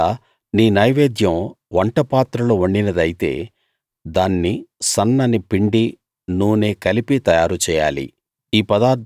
ఒకవేళ నీ నైవేద్యం వంట పాత్రలో వండినదైతే దాన్ని సన్నని పిండీ నూనే కలిపి తయారు చేయాలి